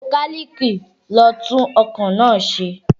Mọkálíìkì lo tún ọkọ̀ náà ṣe